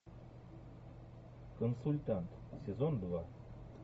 консультант сезон два